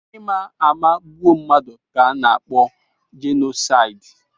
Ịma ama egbu mmadụ ka ana-akpọ jenosaidi.